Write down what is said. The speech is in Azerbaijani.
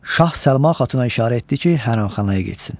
Şah Səlma Xatuna işarə etdi ki, hərəmxanaya getsin.